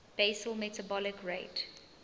basal metabolic rate